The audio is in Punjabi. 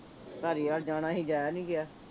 ਧਾਲੀਵਾਲ ਜਾਣਾ ਸੀ ਜਾਇਆ ਨਹੀਂ ਗਿਆ